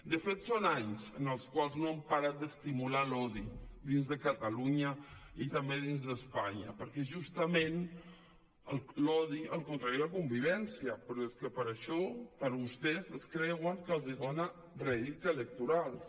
de fet són anys en els quals no han parat d’estimular l’odi dins de catalunya i també dins d’espanya perquè justament l’odi és el contrari de la convivència però és que això vostès es creuen que els dona rèdits electorals